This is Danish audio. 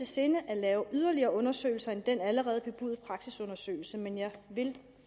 sinde at lave yderligere undersøgelser ud over den allerede bebudede praksisundersøgelse men jeg vil